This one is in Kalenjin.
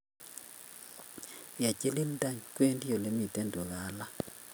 Ye chilil tany, wendi ole mi tugaa alak.